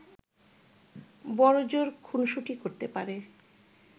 বড়জোর খুনসুটি করতে পারে